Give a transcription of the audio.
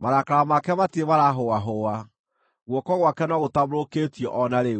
marakara make matirĩ maraahũahũa, guoko gwake no gũtambũrũkĩtio o na rĩu.